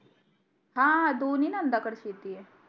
हा हा दोन्ही नंदा कडे शेती आहे